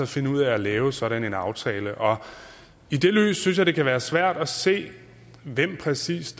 finde ud af at lave sådan en aftale i det lys synes jeg det kan være svært at se hvem der præcis